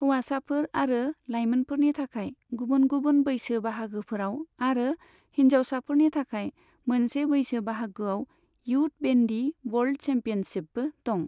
हौवासाफोर आरो लायमोनफोरनि थाखाय गुबुन गुबुन बैसो बाहागोफोराव आरो हिन्जावसाफोरनि थाखाय मोनसे बैसो बाहागोआव इयुथ बेन्डी वर्ल्ड चेम्पियनशिपबो दं।